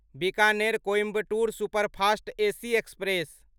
Bikaner Coimbatore superfast AC express